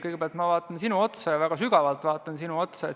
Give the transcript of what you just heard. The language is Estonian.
Kõigepealt ma vaatan väga sügavalt sinu otsa.